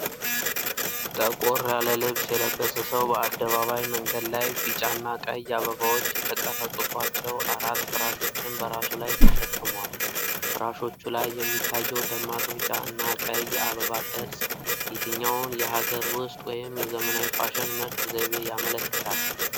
ጠቆር ያለ ልብስ የለበሰ ሰው በአደባባይ መንገድ ላይ፣ ቢጫና ቀይ አበባዎች የተቀረጹባቸው አራት ፍራሾችን በራሱ ላይ ተሸክሞዋል። ፍራሾቹ ላይ የሚታየው ደማቅ ቢጫ እና ቀይ የአበባ ቅርጽ የትኛውን የሀገር ውስጥ ወይም የዘመናዊ ፋሽን ምርት ዘይቤ ያመለክታል?